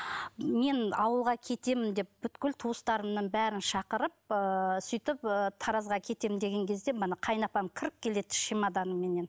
мен ауылға кетемін деп бүкіл туыстарымның бәрін шақырып сөйтіп таразға кетем деген кезде міне қайынапам кіріп келеді чемоданыменен